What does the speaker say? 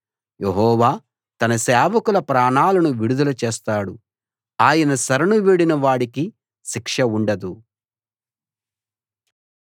యెహోవా తన సేవకుల ప్రాణాలను విడుదల చేస్తాడు ఆయన శరణు వేడిన వాడికి శిక్ష ఉండదు